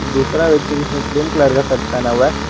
दूसरा व्यक्ति जिसने क्रीम कलर शर्ट पहना हुआ है।